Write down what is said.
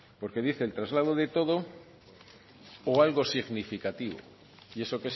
porque dice el traslado de todo o algo significativo